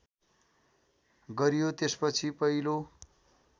गरियो त्यसपछि पहिलो